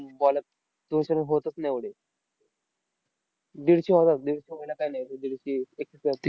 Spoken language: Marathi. baller दोनशे होतच नाही एवढे. दीडशे होणार दीडशे व्हायला काय नाही. ते एकशे